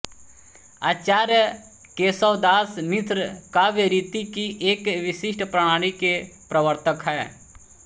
आचार्य केशवदास मिश्र काव्य रीति की एक विशिष्ट प्रणाली के प्रवर्तक हैं